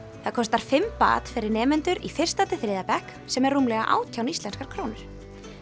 það kostar fimm fyrir nemendur í fyrsta til þriðja bekk sem er rúmlega átján íslenskar krónur